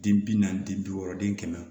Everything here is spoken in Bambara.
Den bi naani ni bi wɔɔrɔ den kɛmɛ